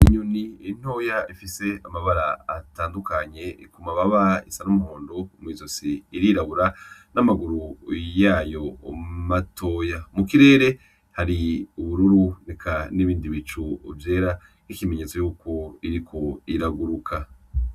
Inyoni ntoya ifise amabara atandukanye ku mababa isa n'umuhondo mwi zosi irirabura n'amaguru yayo matoya, mu kirere hari ubururu eka nibindi bicu vyera nk'ikimenyetso yuko iriko iraguruka